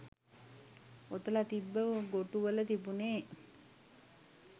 ඔතල තිබ්බ ගොටු වල තිබුනේ